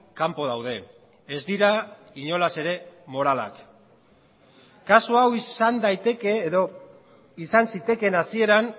kanpo daude ez dira inolaz ere moralak kasu hau izan daiteke edo izan zitekeen hasieran